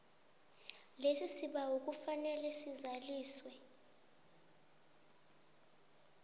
lesibawo kufanele lizaliswe